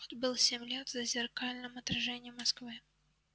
отбыл семь лет в зазеркальном отражении москвы